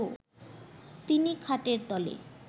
তিনি খাটের তলে